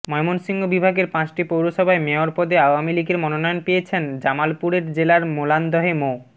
ময়মনসিংহ বিভাগের পাঁচটি পৌরসভায় মেয়র পদে আওয়ামী লীগের মনোনয়ন পেয়েছেন জামালপুরে জেলার মেলান্দহে মো